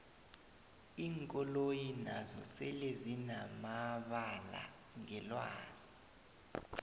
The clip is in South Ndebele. iinkoloyi nazo sele zinanabala ngelwazi